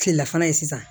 Kilelafana ye sisan